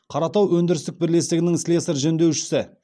қаратау өндірістік бірлестігінің слесарь жөндеушісі